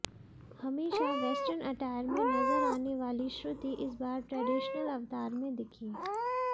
हमेशा western attire में नजर आने वाली श्रुति इस बार ट्रेडिशनल अवतार में दिखीं